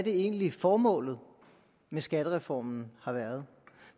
egentlig er formålet med skattereformen har været